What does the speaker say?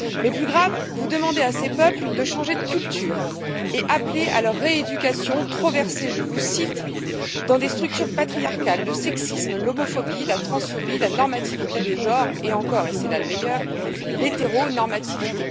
Mais, plus grave, vous demandez à ces peuples de changer de culture et appelez à leur rééducation trop versée je vous cite dans des structures patriarcales, le sexisme, l'homophobie, la transphobie, la normativité de genre et encore et c'est là le meilleur l'hétéronormativité.